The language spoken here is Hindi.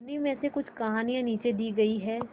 उन्हीं में से कुछ कहानियां नीचे दी गई है